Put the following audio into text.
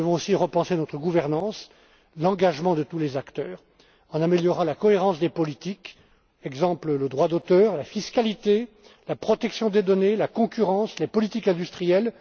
de demain. Nous devons aussi repenser notre gouvernance, l'engagement de tous les acteurs en améliorant la cohérence des politiques, par exemple, le droit d'auteur, la fiscalité, la protection des données, la concurrence, les politiques industrielles.